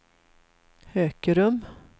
Hökerum